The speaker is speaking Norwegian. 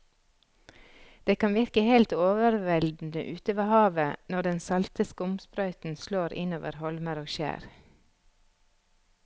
Det kan virke helt overveldende ute ved havet når den salte skumsprøyten slår innover holmer og skjær.